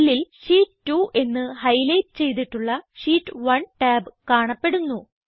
സെല്ലിൽ ഷീറ്റ് 2 എന്ന് ഹൈലൈറ്റ് ചെയ്തിട്ടുള്ള ഷീറ്റ് 1 ടാബ് കാണപ്പെടുന്നു